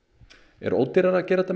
er ódýrara að gera þetta